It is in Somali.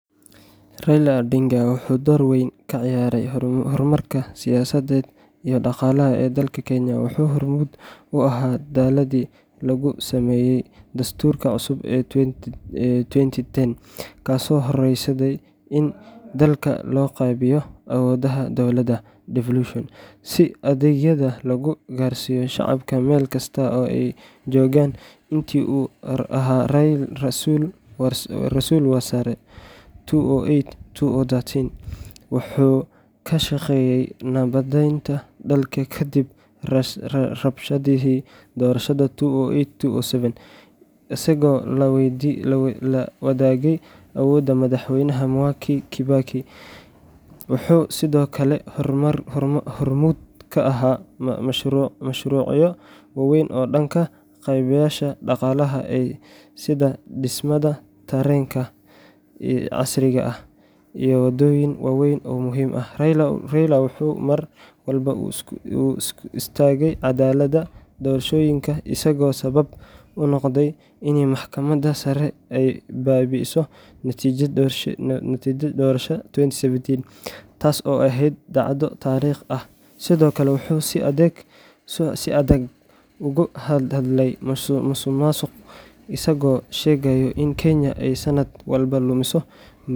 Raila Odinga wuxuu door weyn ka ciyaaray horumarka siyaasadeed iyo dhaqaale ee dalka Kenya. Wuxuu hormuud u ahaa dadaalladii lagu sameeyay Dastuurka cusub ee 2010, kaasoo horseeday in dalka loo qaybiyo awoodaha dowladeed devolution, si adeegyada loogu gaarsiiyo shacabka meel kasta oo ay joogaan. Intii uu ahaa Ra’iisul Wasaare 2008–2013, wuxuu ka shaqeeyay nabadaynta dalka kadib rabshadihii doorashada 2007–2008, isagoo la wadaagay awoodda Madaxweyne Mwai Kibaki. Wuxuu sidoo kale hormuud ka ahaa mashruucyo waaweyn oo dhanka kaabayaasha dhaqaalaha ah sida dhismaha tareenka casriga ah SGR iyo waddooyin waaweyn oo muhiim ah. Raila wuxuu mar walba u istaagay caddaaladda doorashooyinka, isagoo sabab u noqday in Maxkamadda Sare ay baabi'iso natiijada doorashadii 2017 taas oo ahayd dhacdo taariikhi ah. Sidoo kale, wuxuu si adag uga hadlay musuqmaasuqa, isagoo sheegay in Kenya ay sanad walba lumiso.